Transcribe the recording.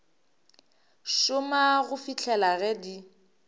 šoma go fihlela ge di